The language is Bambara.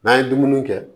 N'an ye dumuni kɛ